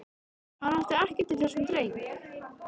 Hann átti ekkert í þessum dreng.